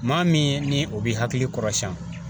Maa min ni o b'i hakili kɔrɔsiɲɛ